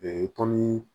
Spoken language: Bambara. tɔni